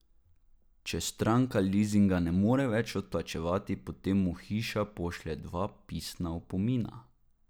Če stranka lizinga ne more več odplačevati potem mu hiša pošlje dva pisna opomina.